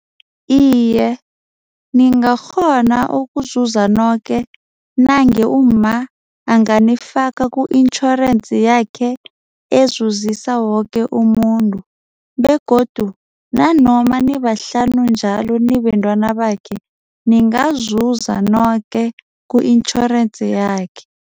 Iye, ningakghona ukuzuza noke nange umma anganifaka ku-itjhorensi yakhe ezuzisa woke umuntu begodu nanoma nibahlanu njalo nibentwana bakhe ningazuza noke ku-itjhorensi yakhe.